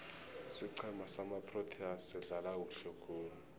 isiqhema samaproteas sidlala kuhle khulu